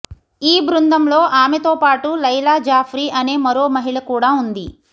ఈ బృందంలో ఆమెతోపాటు లైలాజాఫ్రి అనే మరో మహిళ కూడా ఉంది